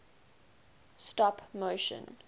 stop motion